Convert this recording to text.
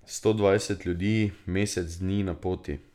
Sto dvajset ljudi mesec dni na poti!